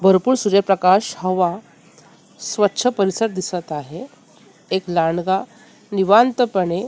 भरपूर सूर्यप्रकाश हवा स्वच्छ परिसर दिसत आहे एक लांडगा निवांतपणे--